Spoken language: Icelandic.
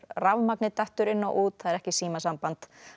rafmagnið dettur inn og út það er ekki símasamband